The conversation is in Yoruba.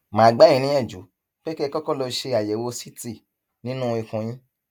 mà á gbà yín níyànjú pé kẹ ẹ kọkọ lọ ṣe àyẹwò ct nínú ikùn yín